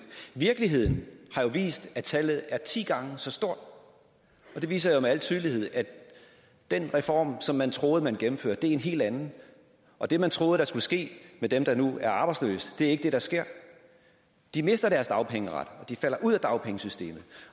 virkeligheden har vist at tallet er ti gange så stort og det viser jo med al tydelighed at den reform som man troede man gennemførte er en helt anden og det man troede skulle ske med dem der nu er arbejdsløse er ikke det der sker de mister deres dagpengeret de falder ud af dagpengesystemet